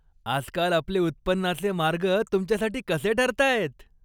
आजकाल आपले उत्पन्नाचे मार्ग तुमच्यासाठी कसे ठरतायत?